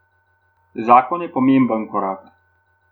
Zakon je pomemben korak.